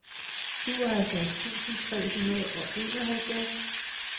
syvoghalvfjerds tusind tre hundrede og enoghalvfjerds